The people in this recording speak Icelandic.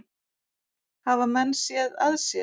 Hafa menn séð að sér?